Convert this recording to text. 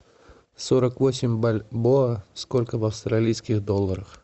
сорок восемь бальбоа сколько в австралийских долларах